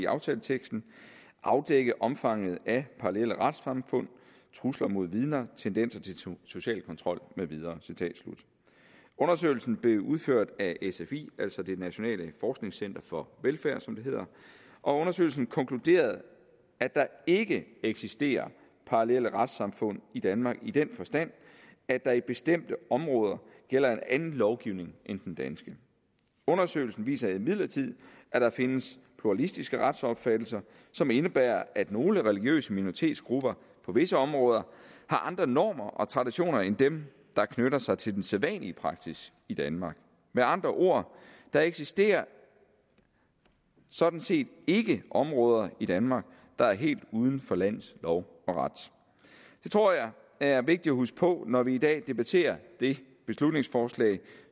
aftaleteksten afdække omfanget af parallelle retssamfund trusler mod vidner tendenser til social kontrol med videre undersøgelsen blev udført af sfi altså det nationale forskningscenter for velfærd som det hedder og undersøgelsen konkluderede at der ikke eksisterer parallelle retssamfund i danmark i den forstand at der i bestemte områder gælder anden lovgivning end den danske undersøgelsen viser imidlertid at der findes pluralistiske retsopfattelser som indebærer at nogle religiøse minoritetsgrupper på visse områder har andre normer og traditioner end dem der knytter sig til den sædvanlige praksis i danmark med andre ord der eksisterer sådan set ikke områder i danmark der er helt uden for lands lov og ret det tror jeg er vigtigt at huske på når vi i dag debatterer det beslutningsforslag